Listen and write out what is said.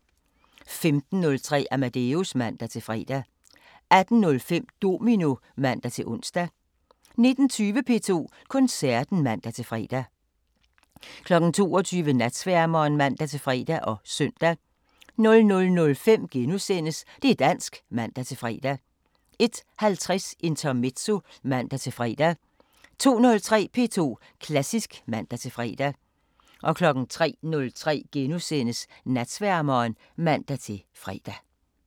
15:03: Amadeus (man-fre) 18:05: Domino (man-ons) 19:20: P2 Koncerten (man-fre) 22:00: Natsværmeren (man-fre og søn) 00:05: Det' dansk *(man-fre) 01:50: Intermezzo (man-fre) 02:03: P2 Klassisk (man-fre) 03:03: Natsværmeren *(man-fre)